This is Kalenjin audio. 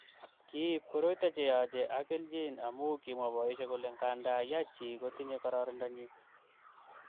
Kiib koroito cheyache ak kelchin amu kimwa boisiek kole nganda ya chi kotinyei kororonindonyi